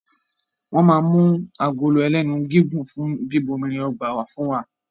Wọ́n ma mú agolo ẹlénu gígùn fún bíbomirin ọgbà wá fún wa